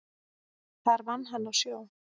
Þar vann hann á sjó.